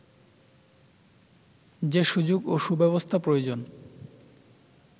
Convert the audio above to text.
যে সুযোগ ও সুব্যবস্থা প্রয়োজন